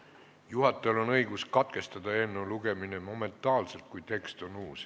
Juhatajal on õigus katkestada eelnõu lugemine momentaanselt, kui tekst on uus.